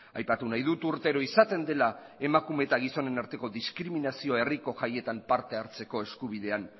aipatu nahi dut urtero izaten dela emakume eta gizonen arteko diskriminazioa herriko jaietan parte hartzeko eskubidean